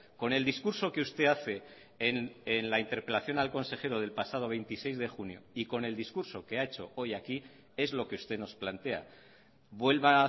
con el discurso que usted hace en la interpelación al consejero del pasado veintiséis de junio y con el discurso que ha hecho hoy aquí es lo que usted nos plantea vuelva